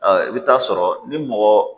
I bɛ taa sɔrɔ ni mɔgɔ